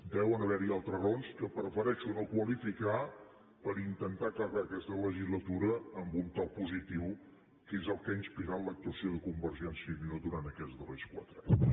deuen haver hi altres raons que prefereixo no qualificar per intentar acabar aquesta legislatura amb un to positiu que és el que ha inspirat l’actuació de convergència i unió durant aquests darrers quatre anys